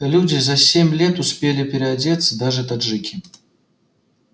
люди за семь лет успели приодеться даже таджики